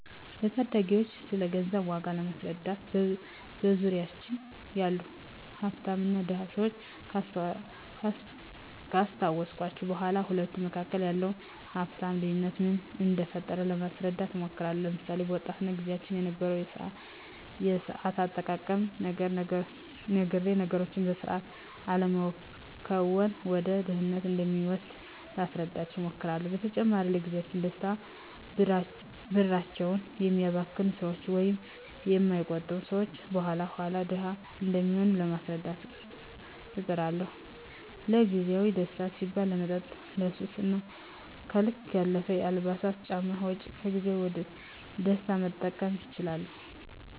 ለታዳጊወች ስለገንዘብ ዋጋ ለማስረዳት በዙሪያችን ያሉ ሀፍታምና ድሀ ሰወችን ካስታወስኳቸው በኋ በሁለቱ መካከል ያለውን የሀፍት ልዮነት ምን እደፈጠረው ለማስረዳት እሞክራለሁ። ለምሳሌ፦ በወጣትነት ግዚያቸው የነበረውን የሰአት አጠቃቀም ነግሬ ነገሮችን በሰአት አለመከወን ወደ ድህነት እንደሚወስድ ላስረዳቸው እሞክራለው። በተጨማሪም ለግዚያዊ ደስታ ብራቸውን የሚያባክኑ ሰወች ወይም የማይቆጥቡ ሰወች የኋላ ኋላ ድሀ እንደሚሆኑ ለማስረዳት እጥራለሁ። ለግዜአዊ ደስታ ሲባል ለመጠጥ፣ ለሱስ እና ከልክ ያለፈ የአልባሳትና ጫማ ወጭ ከግዜያዊ ደስታ መጠቀስ ይችላሉ።